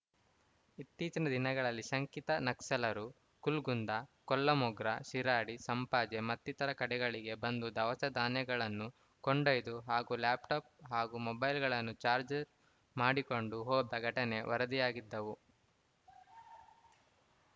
ಇತ್ತೀಚಿನ ದಿನಗಳಲ್ಲಿ ಶಂಕಿತ ನಕ್ಸಲರು ಕುಲ್ಕುಂದ ಕೊಲ್ಲಮೊಗ್ರ ಶಿರಾಡಿ ಸಂಪಾಜೆ ಮತ್ತಿತರ ಕಡೆಗಳಿಗೆ ಬಂದು ದವಸ ಧಾನ್ಯಗಳನ್ನು ಕೊಂಡೊಯ್ದು ಹಾಗೂ ಲ್ಯಾಪ್‌ಟಾಪ್‌ ಹಾಗೂ ಮೊಬೈಲ್‌ಗಳನ್ನು ಚಾರ್ಜ್ ಮಾಡಿಕೊಂಡು ಹೋದ ಘಟನೆಗಳು ವರದಿಯಾಗಿದ್ದವು